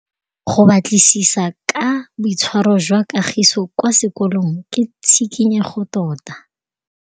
Go batlisisa ka boitshwaro jwa Kagiso kwa sekolong ke tshikinyêgô tota.